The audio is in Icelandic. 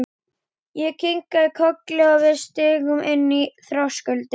Ég kinkaði kolli og við stigum inn fyrir þröskuldinn.